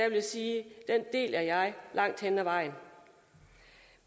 vil sige at den deler jeg langt hen ad vejen